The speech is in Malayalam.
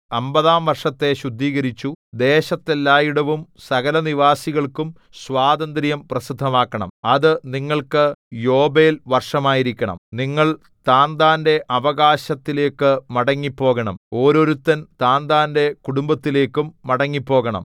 അമ്പതാം വർഷത്തെ ശുദ്ധീകരിച്ചു ദേശത്തെല്ലായിടവും സകലനിവാസികൾക്കും സ്വാതന്ത്ര്യം പ്രസിദ്ധമാക്കണം അത് നിങ്ങൾക്ക് യോബേൽ വർഷമായിരിക്കണം നിങ്ങൾ താന്താന്റെ അവകാശത്തിലേക്കു മടങ്ങിപ്പോകണം ഓരോരുത്തൻ താന്താന്റെ കുടുംബത്തിലേക്കും മടങ്ങിപ്പോകണം